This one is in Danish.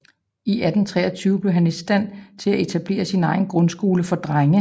I 1823 blev han i stand til at etablere sin egen grundskole for drenge